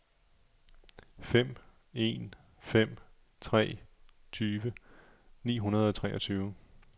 fem en fem tre tyve ni hundrede og treogtyve